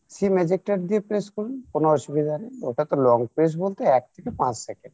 sim ejector দিয়ে press করুন কোনো অসুবিধা নেই ওটা তো long press বলতে এক থেকে পাঁচ second